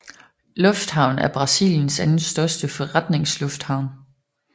Lufthavn er Brasiliens anden største forretningslufthavn